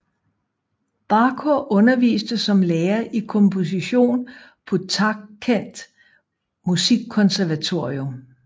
Bakhor underviste som lærer i komposition på Tashkent Musikkonservatorium